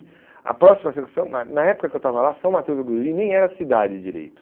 A próxima na na época que eu estava lá, São Mateus do Guriri nem era cidade direito.